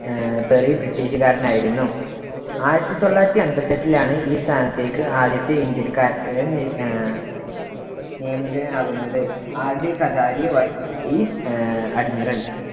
ആഹ് Perry ബ്രിട്ടീഷുകാരനായിരുന്നു. ആയിരത്തി തൊള്ളായിരത്തി അൻപത്തെട്ടിലാണ് ഈ സ്ഥാനത്തേക്ക് ആദ്യത്തെ ഇന്ത്യക്കാരനെ ആഹ് നിയമിതനാകുന്നത്. rd കടാരി ആഹ് admiral